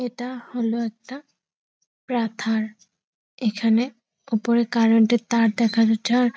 এটা হলো একটা পাথার | এখানে ওপরে কারেন্ট -এর তার দেখা যাচ্ছে আর --